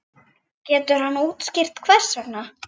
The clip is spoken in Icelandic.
Getur hann útskýrt hvers vegna?